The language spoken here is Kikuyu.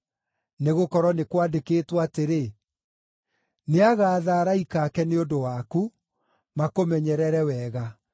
Nĩgũkorwo nĩ kwandĩkĩtwo atĩrĩ: “ ‘Nĩagaatha araika ake nĩ ũndũ waku makũmenyerere wega;